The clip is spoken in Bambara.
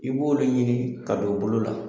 I b'olu ɲini ka don bolo la.